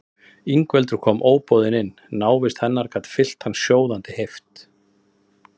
Ingveldur kom óboðin inn, návist hennar gat fyllt hann sjóðandi heift.